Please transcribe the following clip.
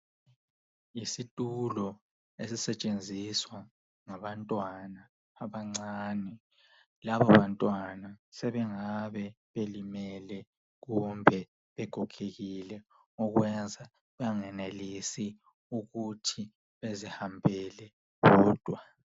Yisitulo esisetshenziswa ngabantwana abancane, labo bantwana sebengabe belimele kumbe begogekile okwenza bengenelisi ukuthi bezihambele bodwa.